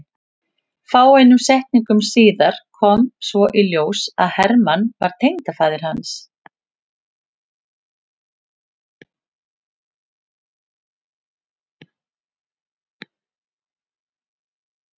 Fáeinum setningum síðar kom svo í ljós að Hermann var tengdafaðir hans.